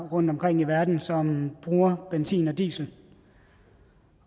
rundtomkring i verden som bruger benzin og diesel